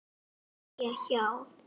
Hún ætlaði að sitja hjá.